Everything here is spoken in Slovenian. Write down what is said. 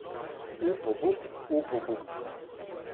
Up, obup, up, obup.